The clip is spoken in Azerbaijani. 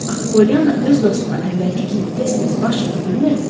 Axı Polyana öz dostuna əvvəlki kimi tez-tez baş çəkə bilmirdi.